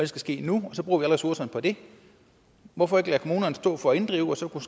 skal ske nu og så bruger vi alle ressourcerne på det hvorfor ikke lade kommunerne stå for at inddrive og så kunne